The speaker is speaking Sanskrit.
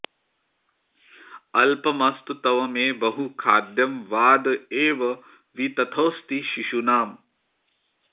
अल्पमस्तु तव मे बहु खाद्यं वाद एव वितथोऽस्ति शिशूनाम्